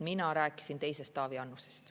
Mina rääkisin teisest Taavi Annusest.